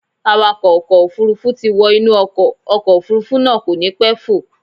Awakọ̀ ọkọ̀ Òfurufú ti wọ inú ọkọ̀, ọkọ̀ Òfurufú náà kò ní pẹ́ fò.